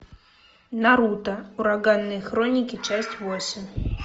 наруто ураганные хроники часть восемь